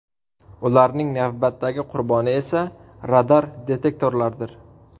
Ularning navbatdagi qurboni esa radar-detektorlardir.